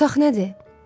Bu otaq nədir?